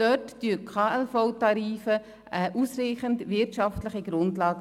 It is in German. Dort bilden die KLVTarife eine ausreichende wirtschaftliche Grundlage.